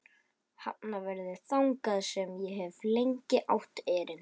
Hafnarfirði, þangað sem ég hef lengi átt erindi.